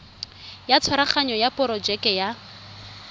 ya tshwaraganyo ya porojeke ya